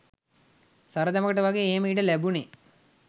සරදමකට වගේ එහෙම ඉඩ ලැබුනේ